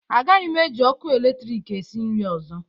Agaghị m eji ọkụ eletrik esi nri ọzọ